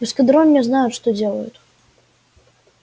в эскадроне знают что делают